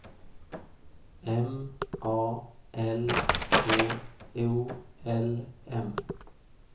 M A L K O L M